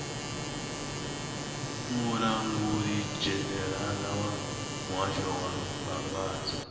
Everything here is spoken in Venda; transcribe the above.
mulangulidzhenerala wa muhasho wa mbambadzo